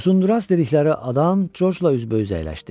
Uzundraz dedikləri adam Corcla üzbəüz əyləşdi.